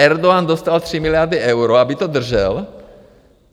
Erdogan dostal 3 miliardy eur, aby to držel.